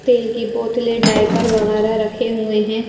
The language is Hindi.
तेल की बोतले डाइपर वगैरह रखे हुए हैं।